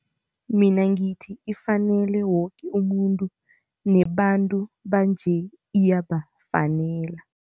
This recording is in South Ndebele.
Mina ngithi ifanele woke umuntu nebantu banje iyabafanele.